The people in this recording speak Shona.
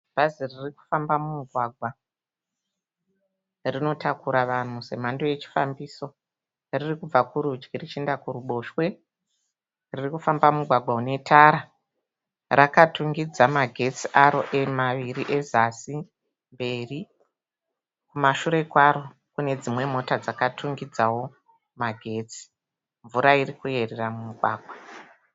Bhazi ririkufamba mumugwagwa. Rinotakura vanhu semhando yechifambiso. Ririkubva kurudyi richienda kuruboshwe. Ririkufamba mumugwagwa une tara. Rakatungidza magetsi aro maviri ezasi, mberi. Kumashure kwaro kune dzimwe mota dzakatungidzawo magetsi. Mvura irikuyerera mumugwagwa.